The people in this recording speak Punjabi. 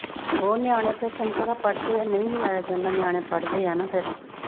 ਹੋਰ ਨਿਆਣੇ ਫ਼ੇਰ ਤੈਨੂੰ ਪਤਾ ਪੜ੍ਹਦੇ ਆ। ਨਈਂ ਵੀ ਆਇਆ ਜਾਂਦਾ ਨਿਆਣੇ ਪੜ੍ਹਦੇ ਆ ਨਾ ਫਿਰ।